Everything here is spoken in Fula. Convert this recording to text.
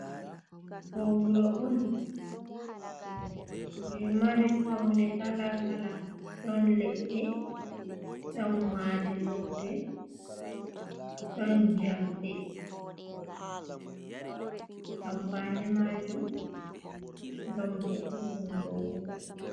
Do wuro on je mari paune kalakala ,don leɗɗe don madi lope ɗon jamɗe amfani majum gam vo"ungo wuro.